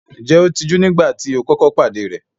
Ǹjẹ́ ó tijú nígbà tí o kọ́kọ́ pàdé rẹ̀?